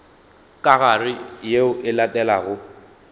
ka gare yeo e latelago